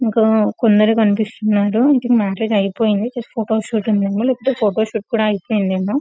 ఇంకా కొందరే కనిపిస్తున్నారు మ్యారేజ్ అయిపోయింది జస్ట్ ఫోటో షూట్ ఏ ఉంది లేకపోతే ఫోటో షూట్ కూడా అయిపోయింది ఏమో.